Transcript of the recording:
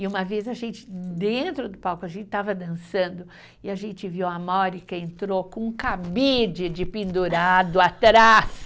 E uma vez a gente, dentro do palco, a gente estava dançando e a gente viu a entrou com um cabide de pendurado atrás.